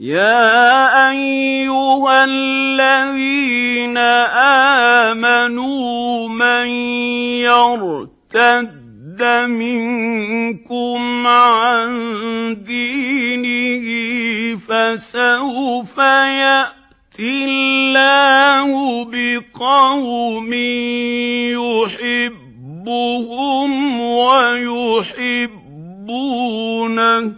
يَا أَيُّهَا الَّذِينَ آمَنُوا مَن يَرْتَدَّ مِنكُمْ عَن دِينِهِ فَسَوْفَ يَأْتِي اللَّهُ بِقَوْمٍ يُحِبُّهُمْ وَيُحِبُّونَهُ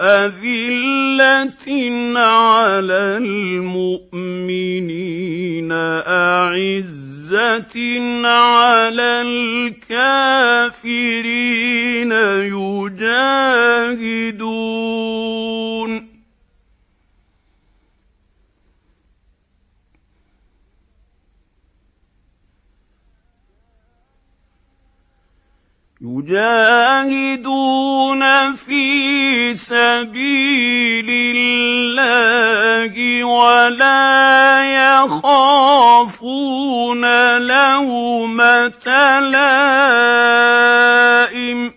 أَذِلَّةٍ عَلَى الْمُؤْمِنِينَ أَعِزَّةٍ عَلَى الْكَافِرِينَ يُجَاهِدُونَ فِي سَبِيلِ اللَّهِ وَلَا يَخَافُونَ لَوْمَةَ لَائِمٍ ۚ ذَٰلِكَ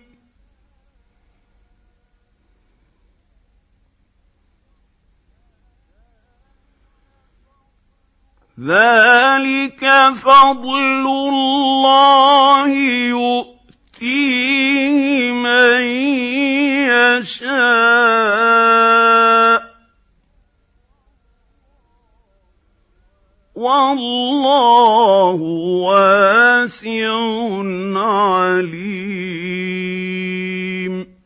فَضْلُ اللَّهِ يُؤْتِيهِ مَن يَشَاءُ ۚ وَاللَّهُ وَاسِعٌ عَلِيمٌ